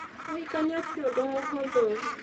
Kũhikania ti ũndũ mũhũthũ